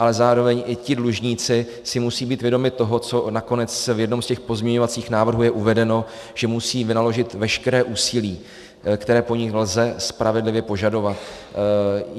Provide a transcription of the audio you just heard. Ale zároveň i ti dlužníci si musí být vědomi toho, co nakonec v jednom z těch pozměňovacích návrhů je uvedeno, že musí vynaložit veškeré úsilí, které po nich lze spravedlivě požadovat.